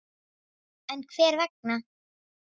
En hver vegna?